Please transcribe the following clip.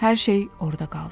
Hər şey orada qaldı.